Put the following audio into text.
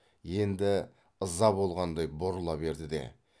енді ыза болғандай бұрыла берді де